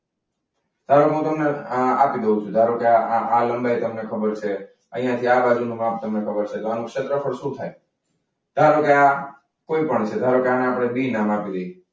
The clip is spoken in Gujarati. ધારો કે આ લંબાઈ તમને ખબર છે. અહીંયા થી આ બાજુનો ભાગ તમને ખબર છે તો આનું ક્ષેત્રફળ શું થાય? ધારો કે આ કોઈ પણ છે. ધારો કે આ બી નામ આપી દઈએ.